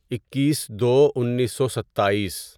اکیس دو انیسو ستائیس